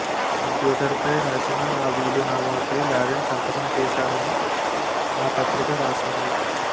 కంప్యూటర్పై రాసిన ఆ వీలునామాపై లాడెన్ సంతకం చేశాడని ఆ పత్రిక రాసింది